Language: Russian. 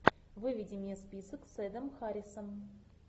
выведи мне список с эдом харрисом